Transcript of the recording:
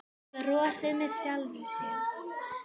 Brosir með sjálfri sér.